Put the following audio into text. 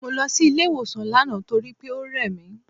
Mo lọ sí ilé ìwòsàn lánàá torí pé ó rẹ̀ mí.